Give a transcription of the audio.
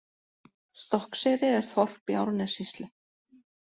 Stokkseyri er þorp í Árnessýslu.